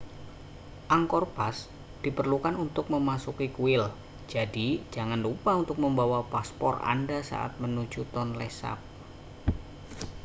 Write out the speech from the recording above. angkor pass diperlukan untuk memasuki kuil jadi jangan lupa untuk membawa paspor anda saat menuju tonle sap